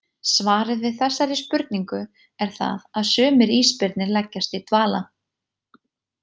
Svarið við þessari spurningu er það að sumir ísbirnir leggjast í dvala.